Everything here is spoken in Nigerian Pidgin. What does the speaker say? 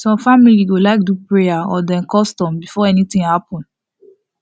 some family go like do prayer or dem custom before anything happen